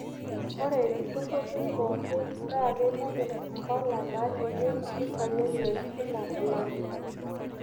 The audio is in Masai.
Ore ilturruri pookin naa keitobirr mpala naalimu mpisai enye kila olari.